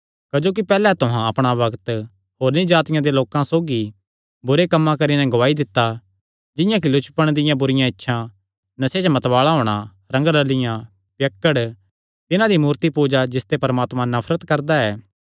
क्जोकि पैहल्ले तुहां अपणा बग्त होरनी जातिआं दे लोकां सौगी बुरे कम्म करी नैं गुआई दित्ता जिंआं कि लुचपण दियां बुरिआं इच्छां नशे च मतवाल़ा होणा रंगरल़ियाँ पियक्कड़पण तिन्हां दी मूर्तिपूजा जिसते परमात्मा नफरत करदा ऐ